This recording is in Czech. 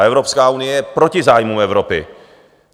A Evropská unie je proti zájmům Evropy.